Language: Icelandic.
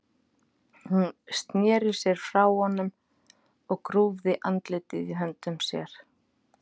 Hún sneri sér frá honum og grúfði andlitið í höndum sér.